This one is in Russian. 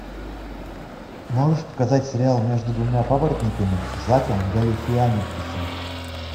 можешь показать сериал между двумя папоротниками с заком галифианакисом